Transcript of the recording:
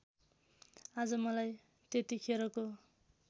आज मलाई त्यतिखेरको